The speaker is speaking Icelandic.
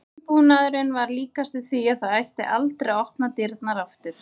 Umbúnaðurinn var líkastur því að það ætti aldrei að opna dyrnar aftur.